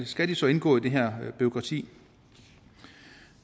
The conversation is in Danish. skal de så indgå i det her bureaukrati